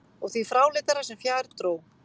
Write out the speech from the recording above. Og því fráleitara sem fjær dró.